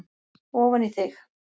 ofan í þig.